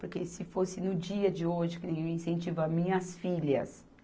Porque se fosse no dia de hoje que nem eu incentivo as minhas filhas